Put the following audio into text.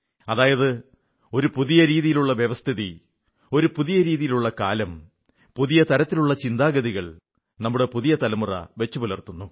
അതായത് ഒരു പുതിയ തരത്തിലുള്ള വ്യവസ്ഥിതി ഒരു പുതിയ രീതിയിലുള്ള കാലം പുതിയ തരത്തിലുള്ള ചിന്താഗതികൾ നമ്മുടെ പുതിയ തലമുറ വച്ചുപുലർത്തുന്നു